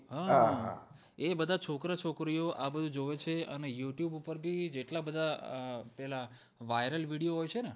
હા હા એ બધા છોકરા છોકરીયો આ બધું જોવે છે ને youtube ઉપરથી જેટલા બધા પેલાં viral video હોય છે ને